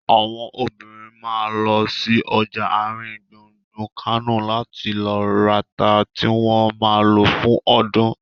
Àwọn obìnrin ma lọ sí ọjà àrin gbùngbùn Kánò láti lọ rata tí wọ́n ma lò fún ọdún